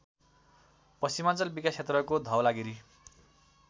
पश्चिमाञ्चल विकासक्षेत्रको धवलागिरि